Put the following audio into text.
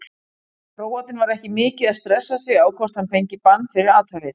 Króatinn var ekki mikið að stressa sig á hvort hann fengi bann fyrir athæfið.